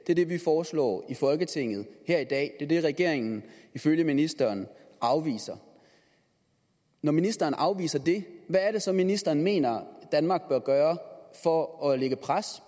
det er det vi foreslår i folketinget her i dag det er det regeringen ifølge ministeren afviser når ministeren afviser det hvad er det så ministeren mener danmark bør gøre for at lægge pres